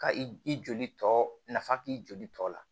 Ka i joli tɔ nafa k'i joli tɔ la